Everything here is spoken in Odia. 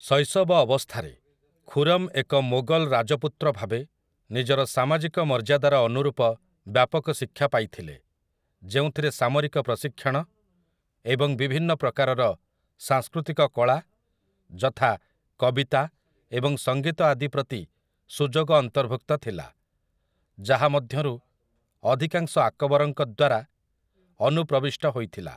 ଶୈଶବ ଅବସ୍ଥାରେ, ଖୁରମ୍ ଏକ ମୋଗଲ ରାଜପୁତ୍ର ଭାବେ ନିଜର ସାମାଜିକ ମର୍ଯ୍ୟାଦାର ଅନୁରୂପ ବ୍ୟାପକ ଶିକ୍ଷା ପାଇଥିଲେ, ଯେଉଁଥିରେ ସାମରିକ ପ୍ରଶିକ୍ଷଣ ଏବଂ ବିଭିନ୍ନ ପ୍ରକାରର ସାଂସ୍କୃତିକ କଳା ଯଥା, କବିତା ଏବଂ ସଙ୍ଗୀତ ଆଦି ପ୍ରତି ସୁଯୋଗ ଅନ୍ତର୍ଭୁକ୍ତ ଥିଲା, ଯାହାମଧ୍ୟରୁ ଅଧିକାଂଶ ଆକବରଙ୍କ ଦ୍ୱାରା ଅନୁପ୍ରବିଷ୍ଟ ହୋଇଥିଲା ।